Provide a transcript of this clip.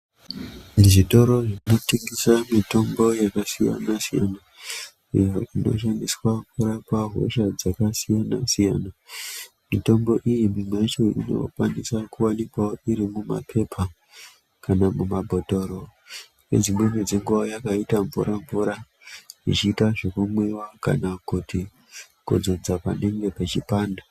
Zvitoro zvinotengesa mitombo yakasiyana siyana iyo inoshandiswa kurapa hosha dzakasiyana-siyana. Mitombo iyi mimwe yacho inowanikwawo irimumaphepa, kana mumabhotora nedzimweni dzenguwa inenge yakaitawo mvura-mvura, ichiita yokumwiwa kana kudzodza panenge pechipanda.